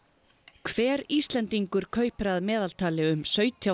hver Íslendingur kaupir að meðaltali um sautján